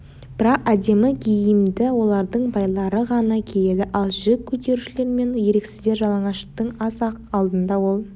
бірақ әдемі киімді олардың байлары ғана киеді ал жүк көтерушілер мен еріксіздер жалаңаштың аз-ақ алдында ол